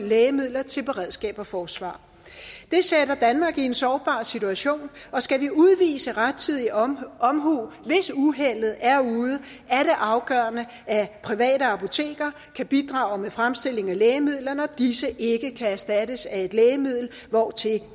lægemidler til beredskabet og forsvaret det sætter danmark i en sårbar situation og skal vi udvise rettidig omhu omhu hvis uheldet er ude er det afgørende at private apoteker kan bidrage med fremstilling af lægemidler når disse ikke kan erstattes af et lægemiddel hvortil